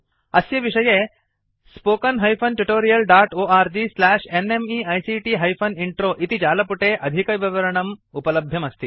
अस्य विषये httpspoken tutorialorgNMEICT Intro इति जालपुटे अधिकविवरणम् उपलभ्यम् अस्ति